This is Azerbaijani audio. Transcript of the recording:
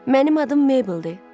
Mənim adım Mabeldir.